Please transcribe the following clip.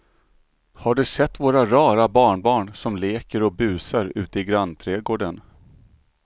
Har du sett våra rara barnbarn som leker och busar ute i grannträdgården!